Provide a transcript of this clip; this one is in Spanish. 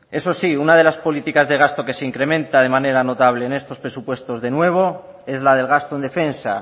eso sí una de las políticas de gasto que se incrementa de manera notable en estos presupuestos de nuevo es la del gasto en defensa